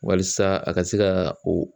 Walasa a ka se ka o